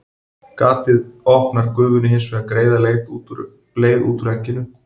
Gatið opnar gufunni hins vegar greiða leið út úr egginu.